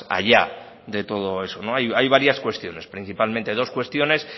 allá de todo eso hay varias cuestiones principalmente dos cuestiones